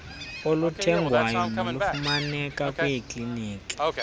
oluthengwayo nolufumaneka kwiiklimikhi